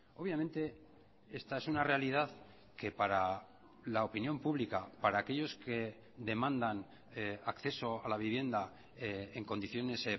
obviamente esta es una realidad que para la opinión pública para aquellos que demandan acceso a la vivienda en condiciones